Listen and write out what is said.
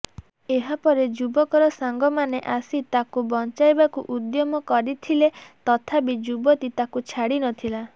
ଏହା ପରେ ଯୁବକର ସାଙ୍ଗମାନେ ଆସି ତାକୁ ବଞ୍ଚାଇବାକୁ ଉଦ୍ୟମ କରିଥିଲେ ତଥାପି ଯୁବତୀ ତାକୁ ଛାଡ଼ିନଥିଲା